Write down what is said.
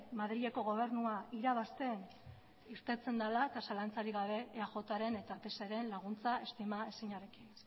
madrileko gobernua irabazten irteten dela eta zalantzarik gabe eajren eta pseren laguntza estima ezinarekin